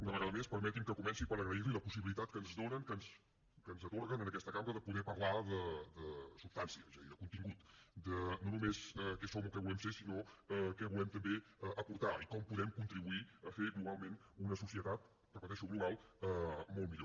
una vegada més permetin me que comenci per agrair los la possibilitat que ens donen que ens atorguen en aquesta cambra de poder parlar de substància és a dir de contingut no només de què som o què volem ser sinó de què volem també aportar i com podem contribuir a fer globalment una societat ho repeteixo global molt millor